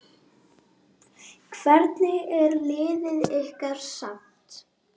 Hvernig er liðið ykkar samsett?